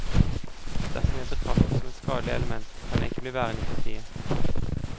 Dersom jeg betraktes som et skadelig element, kan jeg ikke bli værende i partiet.